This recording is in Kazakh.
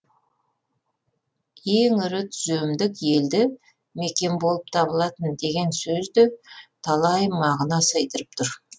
ең ірі түземдік елді мекен болып табылатын деген сөз де талай мағына сыйдырып тұр